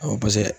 Awɔ paseke